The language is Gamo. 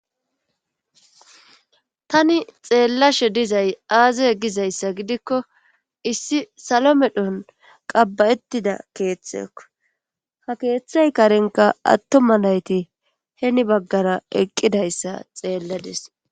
tani xeellashe dizay aazay gizayssa gidikko issi salo medhon qabba7ettida keeththeo ha keeththay karenka attoma nayti heni baggara eqqidayssa xeellades